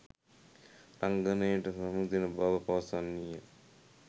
රංගනයට සමුදෙන බව පවසන්නීය.